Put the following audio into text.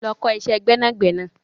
Lọ ọ kọ́ iṣẹ́ gbẹ́nàgbẹnà.